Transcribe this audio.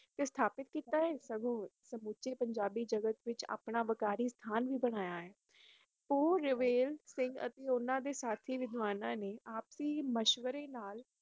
ਸਥਾਪਿਤ ਕੀਤਾ ਸਗੋਂ ਆਪਸੀ ਮਧਵਾਰੇ ਨਾਲ